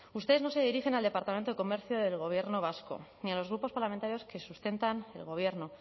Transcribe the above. ustedes no se dirigen al departamento de comercio del gobierno vasco ni a los grupos parlamentarios que sustentan el gobierno